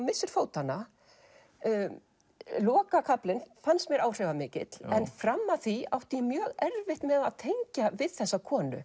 missir fótanna lokakaflinn fannst mér áhrifamikill en fram að því átti ég mjög erfitt með að tengja við þessa konu